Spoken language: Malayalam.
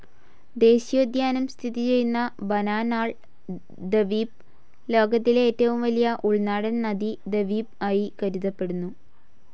ദേശീയോദ്യാനം സ്ഥിതിചെയ്യുന്ന ബാനാനാൾ ദവീപ്, ലോകത്തിലെ ഏറ്റവും വലിയ ഉൾനാടൻ നദീ ദവീപ് ആയി കരുതപ്പെടുന്നു.